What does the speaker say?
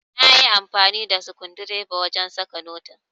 nayi amfani da skundireba wajen saka notin